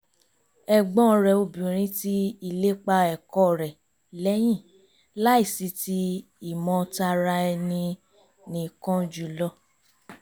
ẹ̀gbọ́n rẹ̀ obìnrin ti ìlépa ẹ̀kọ́ rẹ̀ lẹ́yìn láìsí ti ìmọ̀ tara ẹni-nìkan jùlọ